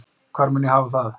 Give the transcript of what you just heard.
Hvar mun ég hafa það?